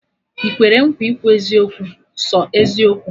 Ị kwere nkwa ikwu eziokwu, sọ eziokwu?